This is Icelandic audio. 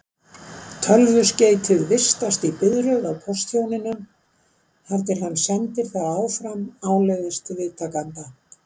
Tölvuskeytið vistast í biðröð á póstþjóninum þar til hann sendir það áfram áleiðis til viðtakanda.